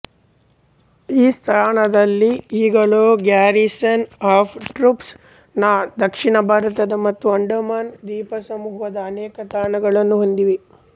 ಈ ಸ್ಥಾನದಲ್ಲಿ ಈಗಲೂ ಗ್ಯಾರಿಸನ್ ಆಫ್ ಟ್ರೂಪ್ಸ್ ನ ದಕ್ಷಿಣ ಭಾರತದ ಮತ್ತು ಅಂಡಮಾನ್ ದ್ವೀಪಸಮೂಹದ ಅನೇಕ ತಾಣಗಳನ್ನು ಹೊಂದಿದೆ